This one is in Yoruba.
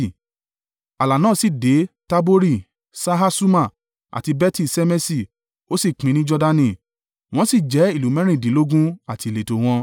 Ààlà náà sì dé Tabori, Ṣahasuma, àti Beti-Ṣemeṣi, ó sì pin ní Jordani. Wọ́n sì jẹ́ ìlú mẹ́rìndínlógún àti ìletò wọn.